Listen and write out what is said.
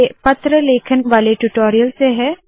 ये पत्र लेखन वाले ट्यूटोरियल से है